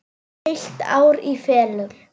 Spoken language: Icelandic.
Heilt ár í felum.